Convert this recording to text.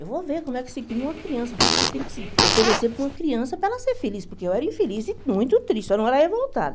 Eu vou ver como é que se cria uma criança, o que que se tem que se oferecer para uma criança para ela ser feliz, porque eu era infeliz e muito triste, só não era revoltada.